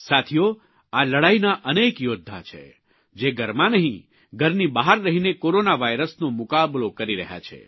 સાથીઓ આ લડાઇના અનેક યોદ્ધા છે જે ઘરમાં નહીં ઘરની બહાર રહીને કોરોના વાયરસનો મુકાબલો કરી રહ્યા છે